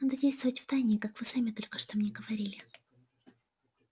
надо действовать втайне как вы сами только что мне говорили